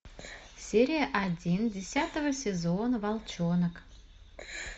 серия один десятого сезона волчонок